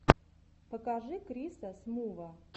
покажи криса смува